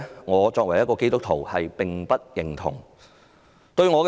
我作為基督徒，並不認同這種價值觀。